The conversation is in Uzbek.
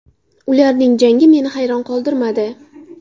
Ularning jangi meni hayron qoldirmadi.